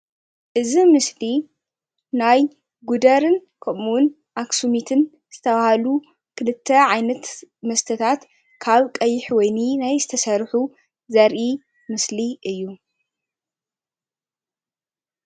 እዚ ምስሊ ናይ ጉደርን ከምእውን ናይ ኣክሱሚትን ዝተብሃሉ ክልተ ዓይነት መስተታት ካብ ቀይ ወይኒ ናይ ዝተሰርሑ ዘርኢ ምስሊ እዩ።